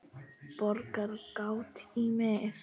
Borar gat í mig.